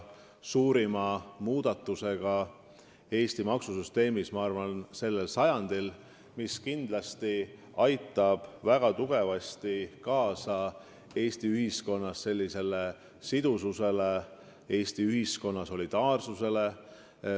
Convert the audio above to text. Ma arvan, et see on selle sajandi suurim muudatus Eesti maksusüsteemis, mis aitab kindlasti väga palju kaasa Eesti ühiskonna sidususe ja solidaarsuse suurendamisele.